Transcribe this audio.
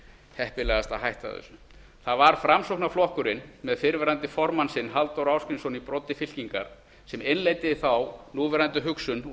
heppilegast að hætta þessu það var framsóknarflokkurinn með fyrrverandi formann sinn halldór ásgrímsson í broddi fylkingar sem innleiddi þá núverandi hugsun og